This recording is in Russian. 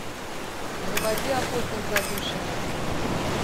заводи охотник за душами